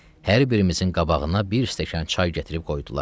Hər birimizin qabağına bir stəkan çay gətirib qoydular.